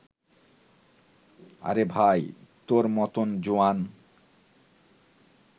আরে ভাই তোর মতন জোয়ান